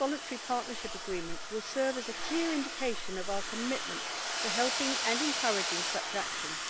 This Voluntary Partnership Agreement will serve as a clear indication of our commitment to helping and encouraging such actions.